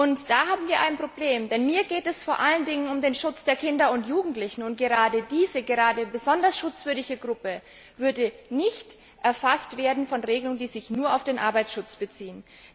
Und da haben wir ein Problem Denn mir geht es vor allen Dingen um den Schutz der Kinder und Jugendlichen, und gerade diese besonders schutzwürdige Gruppe würde nicht erfasst werden von Regelungen, die sich nur auf den Arbeitsschutz beziehen.